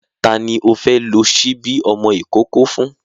Ta ni o fẹ́ lo ṣíbí ọmọ ìkókó fún?